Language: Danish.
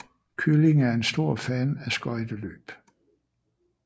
Kylling er en stor fan af skøjteløb